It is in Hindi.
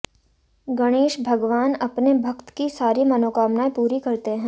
गणेश भगवान अपने भक्त की सारी मनोकामनाएं पूरी करते हैं